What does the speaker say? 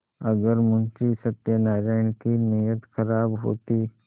अगर मुंशी सत्यनाराण की नीयत खराब होती